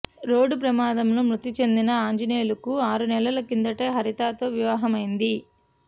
road ప్రమాదంలో మృతి చెందిన ఆంజనేయులుకు ఆరు నెలల కిందటే హరితతో వివాహమైంది